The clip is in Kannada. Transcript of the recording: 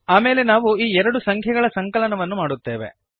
ಆಮೇಲೆ ನಾವು ಈ ಎರಡು ಸಂಖ್ಯೆಗಳ ಸಂಕಲನವನ್ನು ಮಾಡುತ್ತೇವೆ